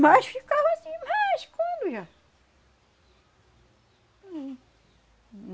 Mas ficava sim, mas quando já? Hum,